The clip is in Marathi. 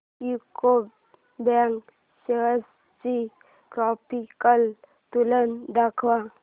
यूको बँक शेअर्स ची ग्राफिकल तुलना दाखव